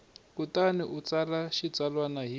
kutani u tsala xitsalwana hi